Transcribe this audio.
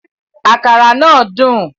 Àkàrà náà dùn